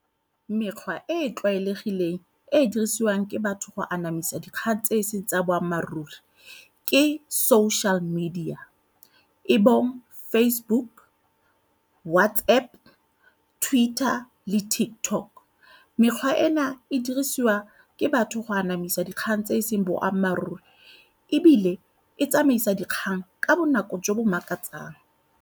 Mekgwa e e tlwaelegileng e e dirisiwang ke batho go anamisa dikgang tse seng tsa boammaaruri ke social media e bong Facebook, WhatsApp, Twitter le TikTok. Mekgwa ena e dirisiwa ke batho go anamisa dikgang tse e seng boammaaruri ebile e tsamaisa dikgang ka bonako jo bo makatsang.